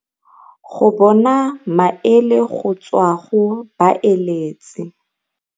go bona maele go tswa mo go baeletsi.